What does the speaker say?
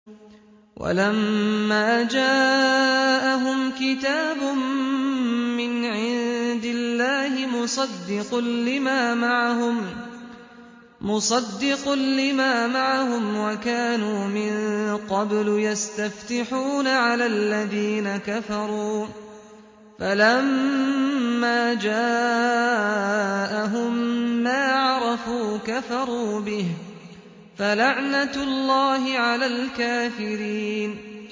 وَلَمَّا جَاءَهُمْ كِتَابٌ مِّنْ عِندِ اللَّهِ مُصَدِّقٌ لِّمَا مَعَهُمْ وَكَانُوا مِن قَبْلُ يَسْتَفْتِحُونَ عَلَى الَّذِينَ كَفَرُوا فَلَمَّا جَاءَهُم مَّا عَرَفُوا كَفَرُوا بِهِ ۚ فَلَعْنَةُ اللَّهِ عَلَى الْكَافِرِينَ